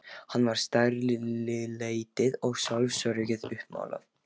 Hann var stærilætið og sjálfsöryggið uppmálað.